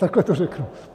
Takhle to řeknu.